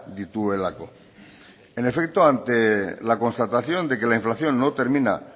dituelako en efecto ante la constatación de que la inflación no termina